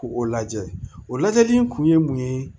K'o o lajɛ o lajɛli in kun ye mun ye